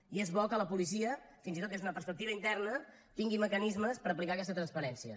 i és bo que la policia fins i tot des d’una perspectiva interna tingui mecanismes per aplicar aquesta transparència